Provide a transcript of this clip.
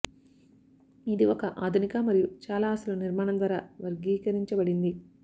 ఇది ఒక ఆధునిక మరియు చాలా అసలు నిర్మాణం ద్వారా వర్గీకరించబడింది